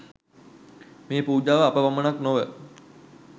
මේ පූජාව අප පමණක් නොව